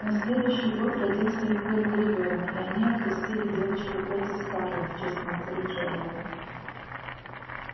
на следующий год родился их первый ребёнок и они окрестили девочку кэти-скарлетт в честь матери джералда